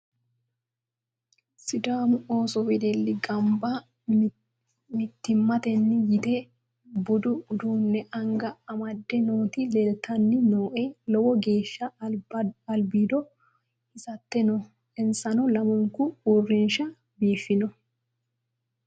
sidaamu ooso wedelli gamba mittimmatenni yite budu uduunne anga amadde noooti leltanni nooe lowo geeshsha albiido hisatte no insa lamunku uurinshsha biiffanno